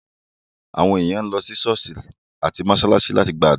Àwọn ènìyàn lọ sí ṣọ̀ọ́sì àti mósálásí láti gbàdúrà.